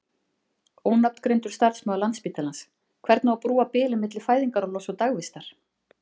Ónafngreindur starfsmaður Landspítalans: Hvernig á að brúa bilið á milli fæðingarorlofs og dagvistar?